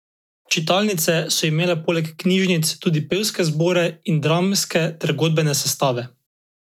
Čitalnice so imele poleg knjižnic tudi pevske zbore in dramske ter godbene sestave.